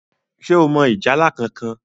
ṣe o mọ ìjálá kánkan?